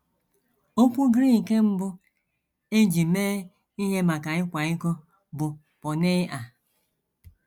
Okwu Grik mbụ e ji mee ihe maka ịkwa iko bụ por·neiʹa.